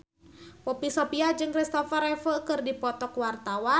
Poppy Sovia jeung Christopher Reeve keur dipoto ku wartawan